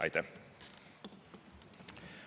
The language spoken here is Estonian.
Aitäh!